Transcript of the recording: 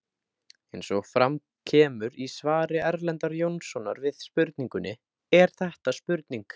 Eins og fram kemur í svari Erlendar Jónssonar við spurningunni Er þetta spurning?